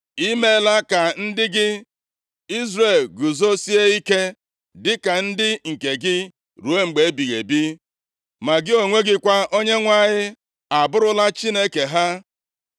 I meela ka ndị gị Izrel guzosie ike, dịka ndị nke gị ruo mgbe ebighị ebi. Ma gị onwe gị kwa, Onyenwe anyị, abụrụla Chineke ha.